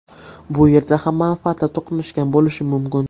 Bu yerda ham manfaatlar to‘qnashgan bo‘lishi mumkin.